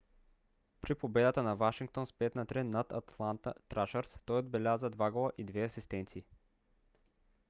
при победата на вашингтон с 5 на 3 над атланта трашърс той отбеляза 2 гола и 2 асистенции